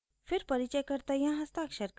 फिर परिचयकर्ता यहाँ हस्ताक्षर करेगा